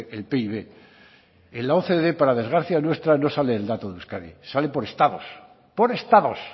el pib en la ocde para desgracia nuestra no sale el dato de euskadi sale por estados por estados